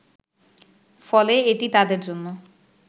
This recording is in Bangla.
ফলে এটি তাদের জন্য